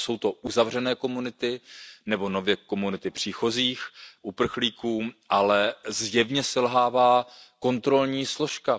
Ano, jsou to uzavřené komunity nebo komunity nově příchozích uprchlíků, ale zjevně selhává kontrolní složka.